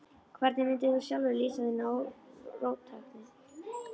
Hvernig mundir þú sjálfur lýsa þinni róttækni?